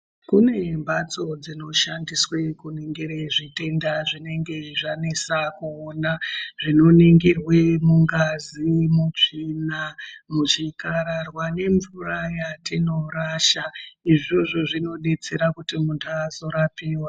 Kune mbatso dzinoshandiswe kuningire zvitenda zvinenge zvanesa kuona zvinoningirwe mungazi, mutsvina, muzvikararwa nemvura yatinorasha. Izvozvo zvinodetsera kuti muntu azorapiwa.